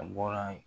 A bɔra yen